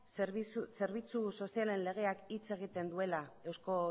zerbitzu sozialen legeak hitz egiten duela eusko